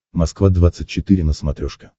москва двадцать четыре на смотрешке